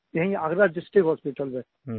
यहीं Agra district hospital में